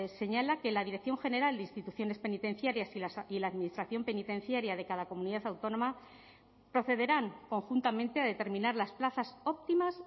señala que la dirección general de instituciones penitenciarias y la administración penitenciaria de cada comunidad autónoma procederán conjuntamente a determinar las plazas óptimas